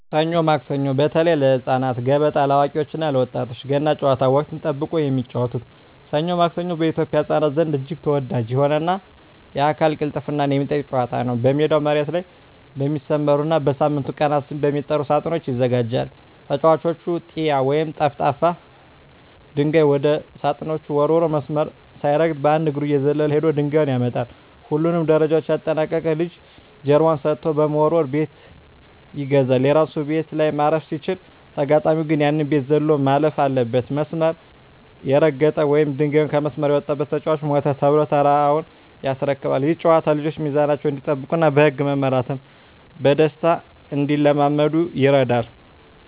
ሰኞ ማክሰኞ (በተለይ ለህፃናት)፣ገበጣ (ለአዋቂዎች እና ለወጣቶች)፣ ገና ጨዋታ (ወቅትን ጠብቆ የሚጫወቱት) "ሰኞ ማክሰኞ" በኢትዮጵያ ህፃናት ዘንድ እጅግ ተወዳጅ የሆነና የአካል ቅልጥፍናን የሚጠይቅ ጨዋታ ነው። ሜዳው መሬት ላይ በሚሰመሩና በሳምንቱ ቀናት ስም በሚጠሩ ሳጥኖች ይዘጋጃል። ተጫዋቹ "ጢያ" ወይም ጠፍጣፋ ድንጋይ ወደ ሳጥኖቹ ወርውሮ፣ መስመር ሳይረግጥ በአንድ እግሩ እየዘለለ ሄዶ ድንጋዩን ያመጣል። ሁሉንም ደረጃዎች ያጠናቀቀ ልጅ ጀርባውን ሰጥቶ በመወርወር "ቤት ይገዛል"። የራሱ ቤት ላይ ማረፍ ሲችል፣ ተጋጣሚው ግን ያንን ቤት ዘሎ ማለፍ አለበት። መስመር የረገጠ ወይም ድንጋዩ ከመስመር የወጣበት ተጫዋች "ሞተ" ተብሎ ተራውን ያስረክባል። ይህ ጨዋታ ልጆች ሚዛናቸውን እንዲጠብቁና በህግ መመራትን በደስታ እንዲለማመዱ ይረዳል።